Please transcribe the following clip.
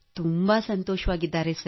ತುಂಬಾ ಸಂತೋಷವಾಗಿದ್ದಾರೆ ಸರ್